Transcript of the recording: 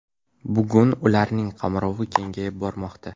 Bugun ularning qamrovi kengayib bormoqda.